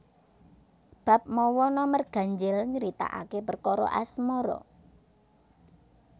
Bab mawa nomer ganjil nyritakaké perkara asmara